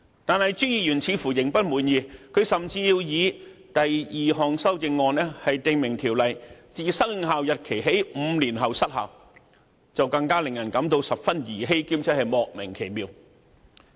然而，朱議員似乎仍未滿意，甚至提出他的第二項修正案，訂明《條例草案》自生效日期起5年後失效，就更令人感到十分兒戲，而且莫名其妙。